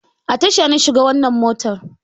A tasha na shiga wannan motar